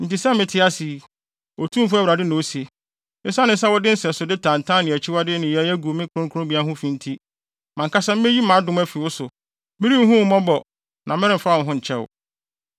Enti sɛ mete ase yi, Otumfo Awurade na ose, esiane sɛ wode nsɛsode tantan ne akyiwade nneyɛe agu me kronkronbea ho fi nti, mʼankasa meyi mʼadom afi wo so; merenhu wo mmɔbɔ na meremfa wo ho nkyɛ wo.